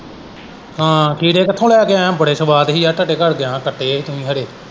ਹਾਂ ਖੀਰੇ ਕਿੱਥੋਂ ਲੈ ਕੇ ਆਇਆ ਹਾਂ ਬੜੇ ਸਵਾਦ ਹੀ ਯਾਰ ਤੁਹਾਡੇ ਘਰ ਗਿਆਂ ਹੀ ਕੱਟੇ ਹੀ ਤੁਸੀਂ ਖਰੇ।